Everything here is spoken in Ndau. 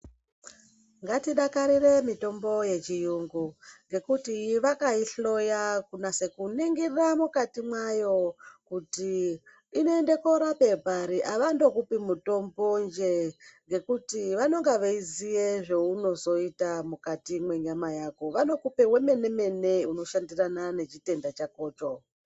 Ngatidakarire mitombo yechiyungu ngekuti vakaihloya kunase kuningira mukati mwayo kuti inoende korape pari avandokupi mutombonje ngekuti vanenge veiziye zveunozoita mukati mwenyama yako vanokuoe wemene mene unoshandirana nehotenda chakocho.